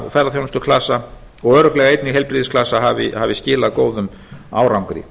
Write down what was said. matvælaklasa og ferðaþjónustuklasa og örugglega einnig heilbrigðisklasa hafi skilað góðum árangri